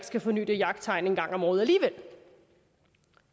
skal forny det jagttegn en gang om året